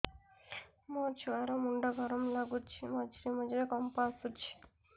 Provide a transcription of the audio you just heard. ମୋ ଛୁଆ ର ମୁଣ୍ଡ ଗରମ ଲାଗୁଚି ମଝିରେ ମଝିରେ କମ୍ପ ଆସୁଛି